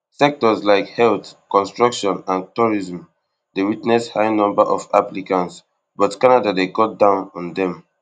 sectors like health construction and tourism dey witness high number of applicants but canada dey cut down on dem